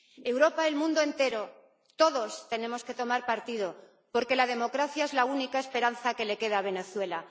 Europa, el mundo entero, todos tenemos que tomar partido, porque la democracia es la única esperanza que le queda a Venezuela.